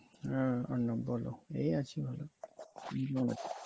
হম হম বলো এই আছি hello